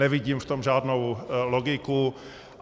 Nevidím v tom žádnou logiku.